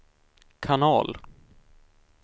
kanal